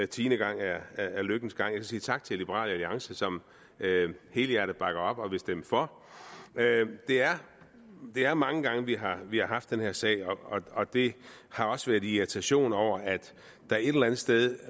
tiende gang er lykkens gang jeg vil sige tak til liberal alliance som helhjertet bakker op og vil stemme for det er er mange gange vi har vi har haft den her sag oppe og det har også været i irritation over at der et eller andet sted